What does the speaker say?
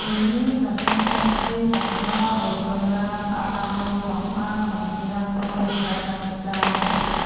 uni samtangtangchi bang·a bolgrimrang aro bang·a samsirangko nikatna gita man·a.